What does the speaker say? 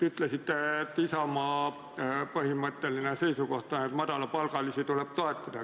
Ütlesite, et Isamaa põhimõtteline seisukoht on, et madalapalgalisi tuleb toetada.